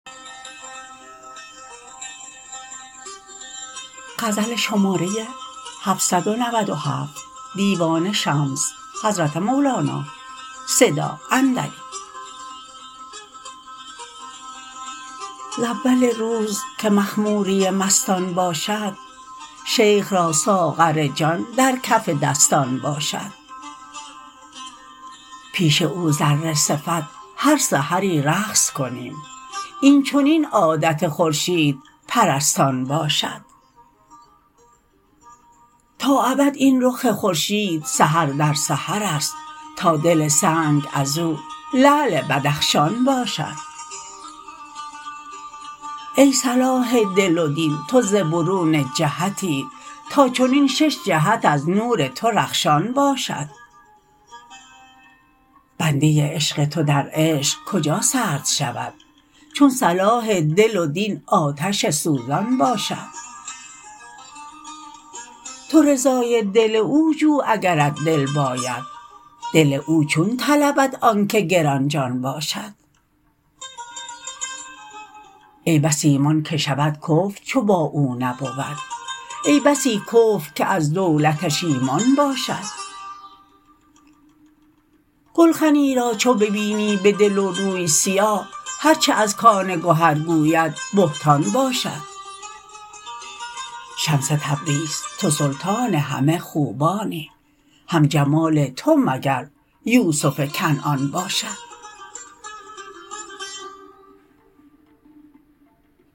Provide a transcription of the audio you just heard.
ز اول روز که مخموری مستان باشد شیخ را ساغر جان در کف دستان باشد پیش او ذره صفت هر سحری رقص کنیم این چنین عادت خورشیدپرستان باشد تا ابد این رخ خورشید سحر در سحرست تا دل سنگ از او لعل بدخشان باشد ای صلاح دل و دین تو ز برون جهتی تا چنین شش جهت از نور تو رخشان باشد بنده عشق تو در عشق کجا سرد شود چون صلاح دل و دین آتش سوزان باشد تو رضای دل او جو اگرت دل باید دل او چون طلبد آنک گران جان باشد ای بس ایمان که شود کفر چو با او نبود ای بسی کفر که از دولتش ایمان باشد گلخنی را چو ببینی به دل و روی سیاه هر چه از کان گهر گوید بهتان باشد شمس تبریز تو سلطان همه خوبانی هم جمال تو مگر یوسف کنعان باشد